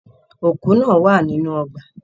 Òkú náà wà nínú ọgbà.